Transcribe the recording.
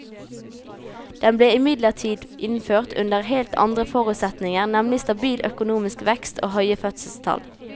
Den ble imidlertid innført under helt andre forutsetninger, nemlig stabil økonomisk vekst og høye fødselstall.